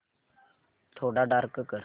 थोडा डार्क कर